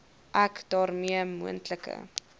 ek daarmee moontlike